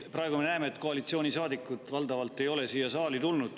Praegu me näeme, et koalitsioonisaadikud valdavalt ei ole saali tulnud.